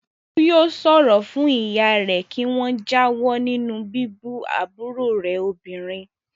Bólú yóò sọ fún ìyá rẹ̀ kí wọ́n jáwọ́ nínú bíbú àbúrò rẹ̀ obìnrin.